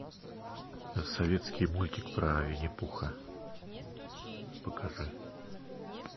советский мультик про винни пуха покажи